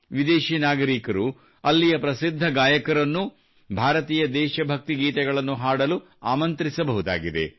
ವಿದೇಶಿ ನಾಗರಿಕರು ಅಲ್ಲಿಯ ಪ್ರಸಿದ್ಧ ಗಾಯಕರನ್ನು ಭಾರತೀಯ ದೇಶ ಭಕ್ತಿ ಗೀತೆಗಳನ್ನು ಹಾಡಲು ಆಮಂತ್ರಿಸಬಹುದಾಗಿದೆ